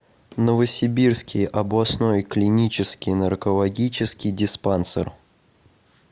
новосибирский областной клинический наркологический диспансер